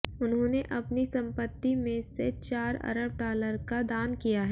उन्होंने अपनी संपत्ति में से चार अरब डालर का दान किया है